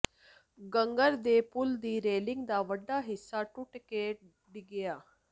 ਘੱਗਰ ਦੇ ਪੁਲ ਦੀ ਰੇਲਿੰਗ ਦਾ ਵੱਡਾ ਹਿੱਸਾ ਟੁੱਟ ਕੇ ਡਿੱਗਿਆ